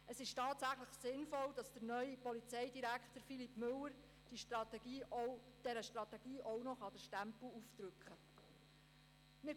Es ist tatsächlich sinnvoll, dass der neue Polizeidirektor, Philippe Müller, dieser Strategie auch noch seinen Stempel aufdrücken kann.